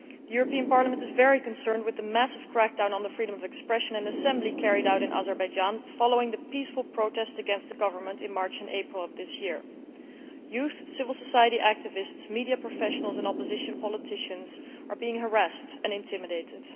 The European Parliament is very concerned about the massive crackdown on freedom of expression and assembly carried out in Azerbaijan following the peaceful protest against the government in March and April of this year. Young people, civil society activists, media professionals and opposition politicians are being harassed and intimidated.